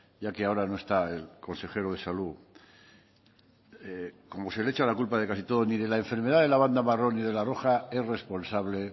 ya que ahora no está el consejero de salud como se le echa la culpa de casi todo ni de la enfermedad de la banda marrón y de la banda roja es responsable